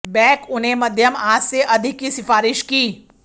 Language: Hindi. बेक उन्हें मध्यम आंच से अधिक की सिफारिश की